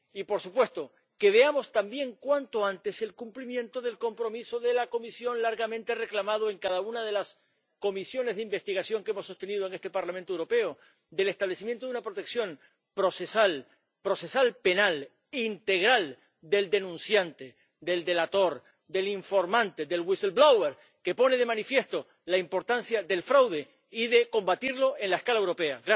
Y, por supuesto, que veamos, también cuanto antes, el cumplimiento del compromiso de la Comisión, largamente reclamado en cada una de las comisiones de investigación que hemos sostenido en este Parlamento Europeo, del establecimiento de una protección procesal, procesal penal, integral del denunciante, del delator, del informante, del wistleblower que pone de manifiesto la importancia del fraude y de combatirlo a escala europea.